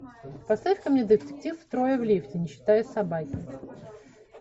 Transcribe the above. поставь ка мне детектив трое в лифте не считая собаки